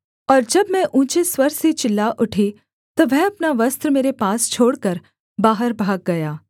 और जब मैं ऊँचे स्वर से चिल्ला उठी तब वह अपना वस्त्र मेरे पास छोड़कर बाहर भाग गया